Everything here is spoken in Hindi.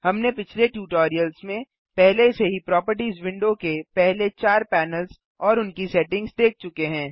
हमने पिछले ट्यूटोरियल्स में पहले से ही प्रोपर्टिज विंडो के पहले चार पैनल्स और उनकी सेटिंग्स देख चुके हैं